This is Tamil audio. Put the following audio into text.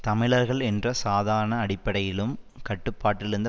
தமிழர்கள் என்ற சாதாரண அடிப்படையிலும் கட்டுப்பாட்டிலிருந்த